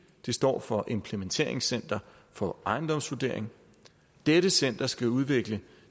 står for implementeringscenter for ejendomsvurdering dette center skal udvikle